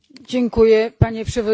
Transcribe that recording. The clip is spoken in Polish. Panie Przewodniczący!